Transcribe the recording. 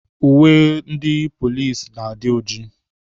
Uwe ndị polisi na-adị ojii.